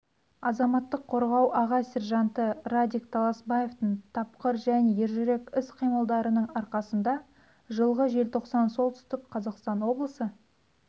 азаматтық қорғау аға сержанты радик таласбаевтың тапқыр және ержүрек іс-қимылдарының арқасында жылғы желтоқсан солтүстік қазақстан облысы